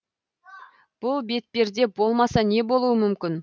бұл бетперде болмаса не болуы мүмкін